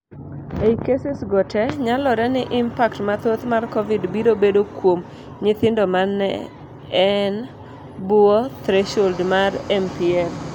Ei cases go te, nyalore ni impact mathoth mar COVID biro bedo kuom nyithindo mane en bwoo threshold mar MPL.